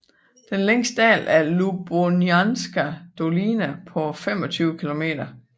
Den længste dal er Ľubochnianska dolina på 25 kilometer